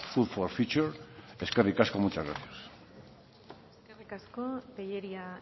food for future eskerrik asko muchas gracias eskerrik asko tellería